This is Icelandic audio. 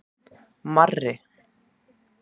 Marri